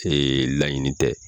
laɲini tɛ.